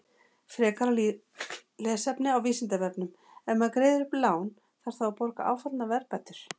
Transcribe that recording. Frekara lesefni á Vísindavefnum: Ef maður greiðir upp lán, þarf þá að borga áfallnar verðbætur?